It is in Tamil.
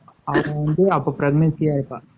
அப்போ வந்து pregnancy யா இருப்பா